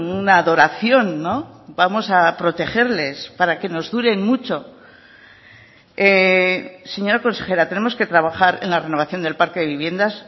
una adoración vamos a protegerles para que nos duren mucho señora consejera tenemos que trabajar en la renovación del parque de viviendas